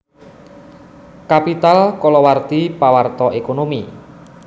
Capital kalawarti pawarta ékonomi